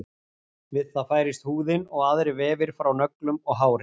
við það færist húðin og aðrir vefir frá nöglum og hári